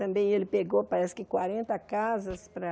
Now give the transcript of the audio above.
Também ele pegou, parece que quarenta casas para...